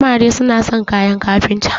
amare suna son kayan kafinta